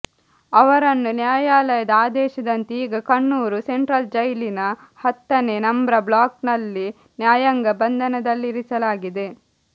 ಅವರನ್ನು ನ್ಯಾಯಾಲಯದ ಆದೇಶದಂತೆ ಈಗ ಕಣ್ಣೂರು ಸೆಂಟ್ರಲ್ಜೈಲಿನ ಹತ್ತನೇ ನಂಬ್ರ ಬ್ಲೋಕ್ನಲ್ಲಿ ನ್ಯಾಯಾಂಗ ಬಂಧನದಲ್ಲಿರಿಸಲಾಗಿದೆ